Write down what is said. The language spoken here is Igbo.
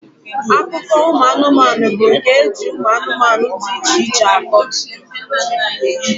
Akụkọ ụmụanụmanụ bụ nke eji anụmanụ dị iche iche akọ.